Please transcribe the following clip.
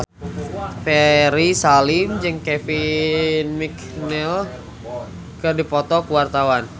Ferry Salim jeung Kevin McNally keur dipoto ku wartawan